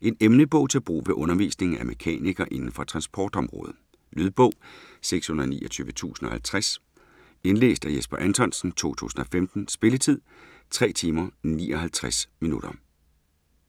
En emnebog til brug ved undervisningen af mekanikere inden for transportområdet. Lydbog 629050 Indlæst af Jesper Anthonsen, 2015. Spilletid: 3 timer, 59 minutter.